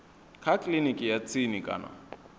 kha kiliniki ya tsini kana